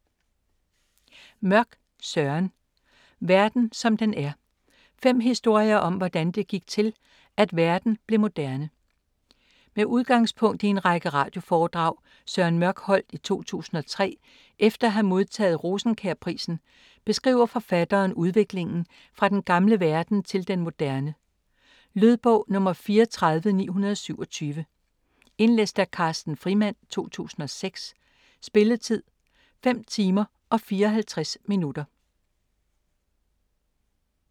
Mørch, Søren: Verden som den er: fem historier om, hvordan det gik til, at verden blev moderne Med udgangspunkt i en række radioforedrag Søren Mørch holdt i 2003 efter at have modtaget Rosenkjærprisen beskriver forfatteren udviklingen fra den gamle verden til den moderne. Lydbog 34927 Indlæst af Carsten Frimand, 2006. Spilletid: 5 timer, 54 minutter.